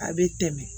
A bɛ tɛmɛ